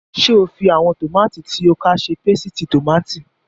Ṣé o fi àwọn tòmátì tí o ká ṣe pésìtì tòmátì?